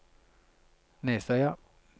Nesøya